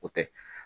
O tɛ